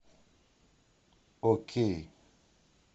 окей